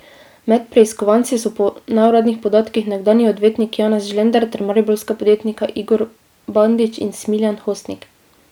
Med preiskovanci so po neuradnih podatkih nekdanji odvetnik Janez Žlender ter mariborska podjetnika Igor Bandić in Smilijan Hostnik.